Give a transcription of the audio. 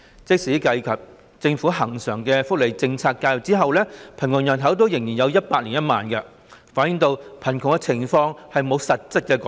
即使計及政府恆常的福利政策介入後，貧窮人口仍有 1,010 000人，反映貧窮情況並沒有實質改善。